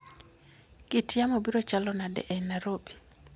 kit yamo biro chalo nade e nairobi